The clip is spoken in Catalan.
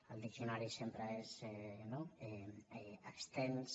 el diccionari sempre és no extens